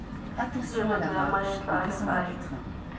tshireletso ya maetla a legae